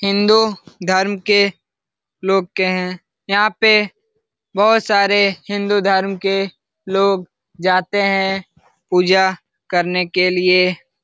हिन्दू धर्म के लोग है यहाँ पे बहुत सारे हिन्दू धर्म के लोग जाते है पूजा करने के लिये ।